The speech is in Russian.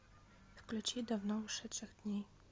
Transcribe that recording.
включи давно ушедших дней